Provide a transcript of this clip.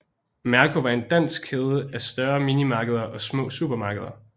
Merko var en dansk kæde af større minimarkeder og små supermarkeder